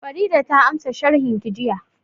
Farida ta ansa sharhin ki jiya